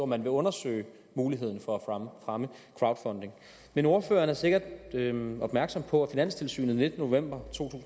man vil undersøge muligheden for at fremme crowdfunding men ordføreren er sikkert opmærksom på at finanstilsynet den nittende november to